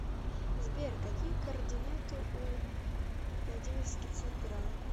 сбер какие координаты у владимирский централ